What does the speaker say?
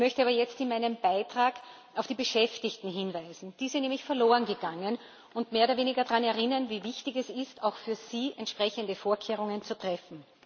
Ich möchte aber jetzt in meinem Beitrag auf die Beschäftigten hinweisen die sind nämlich verloren gegangen und mehr oder weniger daran erinnern, wie wichtig es ist, auch für sie entsprechende Vorkehrungen zu treffen.